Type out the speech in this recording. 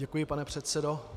Děkuji, pane předsedo.